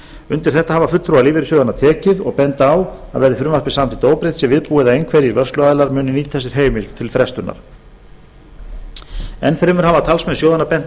undir þetta hafa fulltrúar lífeyrissjóðanna tekið og benda á að verði frumvarpið samþykkt óbreytt sé viðbúið að einhverjir vörsluaðilar muni nýta sér heimild til frestunar enn fremur hafa talsmenn sjóðanna bent á